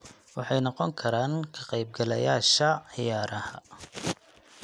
Waxay noqon karaan ka qaybgalayaasha ciyaaraha.